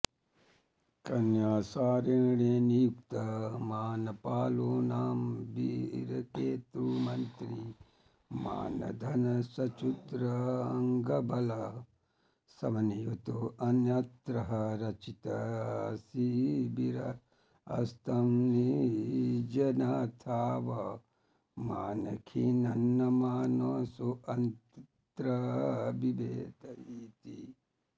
कन्यासारेण नियुक्तो मानपालो नाम वीरकेतुमन्त्री मानधनश्च्तुरङ्गबल समन्वितोऽन्यत्र रचितशिबिरस्तं निजनाथावमानखिन्नमानसोऽन्तर्बिभेद इति